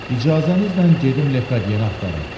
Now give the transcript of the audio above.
İcazənizlə gedim Lekadiyəni axtarım.